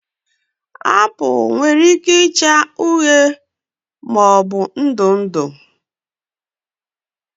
Apụl nwere ike ịcha uhie maọbụ ndụ ndụ